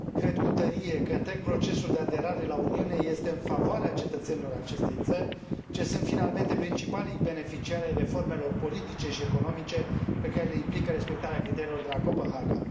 Cred cu tărie că întreg procesul de aderare la Uniune este în favoarea cetățenilor acestei țări, ce sunt finalmente principalii beneficiari ai reformelor politice și economice pe care le implică respectarea criteriilor de la Copenhaga.